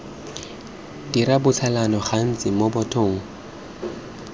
dira botsalano gantsi mo bathong